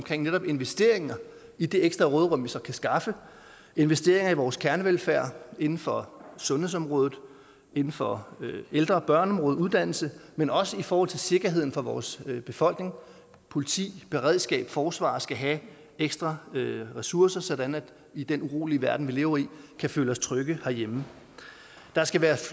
til netop investeringer i det ekstra råderum vi så kan skaffe investeringer i vores kernevelfærd inden for sundhedsområdet inden for ældre og børneområdet uddannelse men også i forhold til sikkerheden for vores befolkning for politi beredskab forsvar skal have ekstra ressourcer sådan at vi i den urolige verden vi lever i kan føle os trygge herhjemme der skal være